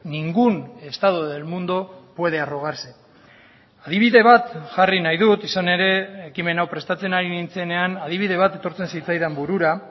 ningún estado del mundo puede arrogarse adibide bat jarri nahi dut izan ere ekimen hau prestatzen ari nintzenean adibide bat etortzen zitzaidan burura